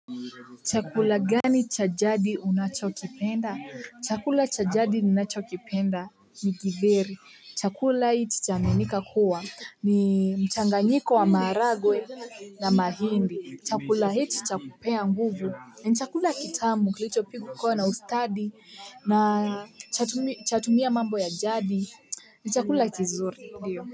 Chakula gani cha jadi unacho kipenda? Chakula cha jadi ninacho kipenda ni kidheri. Chakula hii cha aminika kuwa ni mchanganyiko wa maharage na mahindi. Chakula hii chakupea nguvu ni chakula kitamu kilicho pikwa na ustadi na chatumia mambo ya jadi ni chakula kizuri ndiyo.